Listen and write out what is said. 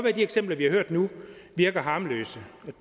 at de eksempler vi har hørt nu virker harmløse og